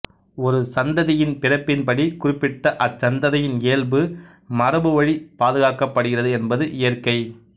ஒரு சந்ததியின் பிறப்பின்படி குறிப்பிட்ட அச்சந்ததியின் இயல்பு மரபுவழி பாதுகாக்கப்படுகிறது என்பது இயற்கை